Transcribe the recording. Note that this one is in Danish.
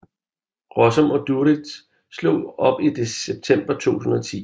Rossum og Duritz slog op i september 2010